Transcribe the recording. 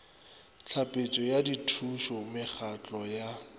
tlhapetšo ya dithušo mekgatlo ya